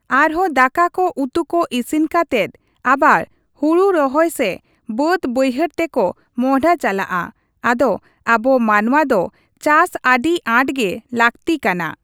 ᱟᱨᱦᱚᱸ ᱫᱟᱠᱟ ᱠᱚ ᱩᱛᱩ ᱠᱚ ᱤᱥᱤᱱ ᱠᱟᱛᱮᱫ ᱟᱵᱟᱨ ᱦᱩᱲᱩ ᱨᱚᱦᱚᱭ ᱥᱮ ᱵᱟᱹᱫ ᱵᱟᱹᱭᱦᱟᱹᱲ ᱛᱮᱠᱚ ᱢᱚᱦᱰᱦᱟ ᱪᱟᱞᱟᱜᱼᱟ ᱟᱫᱚ ᱟᱵᱚ ᱢᱟᱱᱣᱟ ᱫᱚ ᱪᱟᱥ ᱟᱹᱰᱤ ᱟᱴᱜᱮ ᱞᱟᱹᱠᱛᱤ ᱠᱟᱱᱟ ᱾